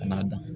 Ka n'a dan